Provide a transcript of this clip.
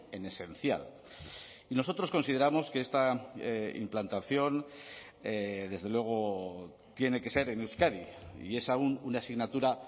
en esencial y nosotros consideramos que esta implantación desde luego tiene que ser en euskadi y es aún una asignatura